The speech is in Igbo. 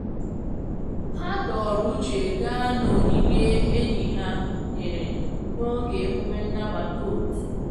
Ha dọọrọ uche gaa na onyinye enyi ha nyere n'oge emume nnabata otu.